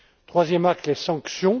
Troisième axe, les sanctions.